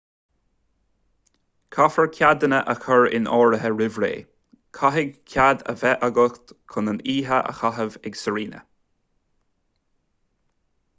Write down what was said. caithfear ceadanna a chur in áirithe roimh ré caithfidh cead a bheith agat chun an oíche a chaitheamh ag sirena